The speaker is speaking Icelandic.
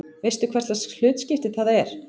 Veistu hverslags hlutskipti það er?